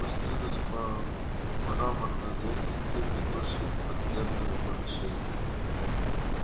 спустились по мраморной лестнице ведущей в подземные помещения